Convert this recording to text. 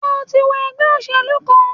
Sé o ti wọ ègbé òṣèlú kan?